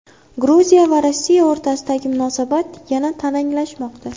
Gruziya va Rossiya o‘rtasidagi munosabat yana taranglashmoqda.